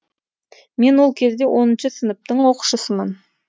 мен ол кезде оныншы сыныптың оқушысымын